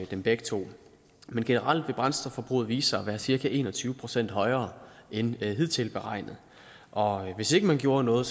dem begge to men generelt vil brændstofforbruget vise sig at være cirka en og tyve procent højere end hidtil beregnet og hvis ikke man gjorde noget